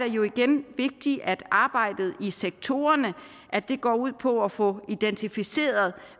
jo igen vigtigt at arbejdet i sektorerne går ud på at få identificeret